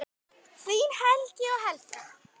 Þín Helgi og Helga.